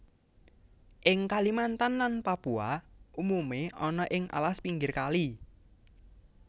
Ing Kalimantan lan Papua umume ana ing alas pinggir kali